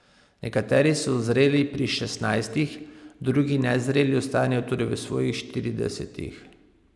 Nekateri so zreli pri šestnajstih, drugi nezreli ostanejo tudi v svojih štiridesetih.